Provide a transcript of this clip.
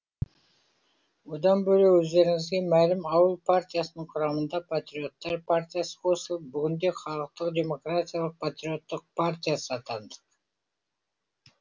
одан бөлек өздеріңізге мәлім ауыл партиясының құрамына патриоттар партиясы қосылып бүгінде халықтық демократиялық патриоттық партиясы атандық